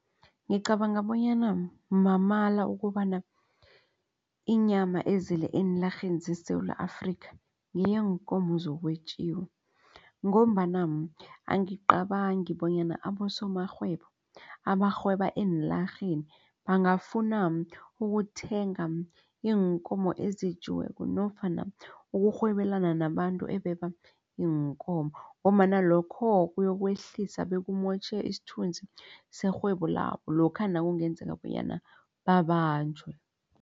Ngicabanga bonyana mamala ukobana inyama ezele eenlarheni zeSewula Afrika ngeyeenkomo zokwetjiwa. Ngombana angicabangi bonyana abosomarhwebo abarhweba eenlarheni bangafuna ukuthenga iinkomo ezetjiweko nofana ukurhwebelana nabantu ebeba iinkomo. Ngombana lokho kuyokwehlisa bekumotjhe isithunzi serhwebo labo lokha nakungenzeka bonyana babanjwe.